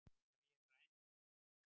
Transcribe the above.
Ef ég ræni